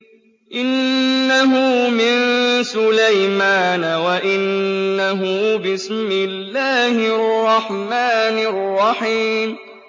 إِنَّهُ مِن سُلَيْمَانَ وَإِنَّهُ بِسْمِ اللَّهِ الرَّحْمَٰنِ الرَّحِيمِ